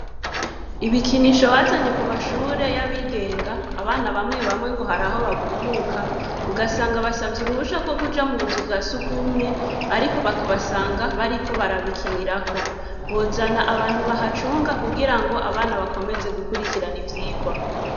Ibikinisho bazanye, ku mashure y'abigenga, abana bamwe bamwe, ngo hari aho bagumuka, ugasanga basavye uruhusha, rwo kuja mu buzu bwa surwumwe, ariko bakabasanga, bariko barabikinirako; bozana abantu bahacunga, kugira ngo, abana bakomeze, gukurikirana ivyigwa.